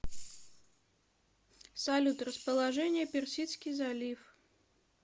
салют расположение персидский залив